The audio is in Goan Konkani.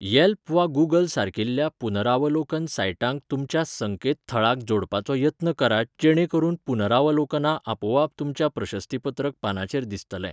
येल्प वा गूगल सारकिल्या पुनरावलोकन साइटांक तुमच्या संकेतथळाक जोडपाचो यत्न करात जेणे करून पुनरावलोकनां आपोआप तुमच्या प्रशस्तीपत्रक पानाचेर दिसतले.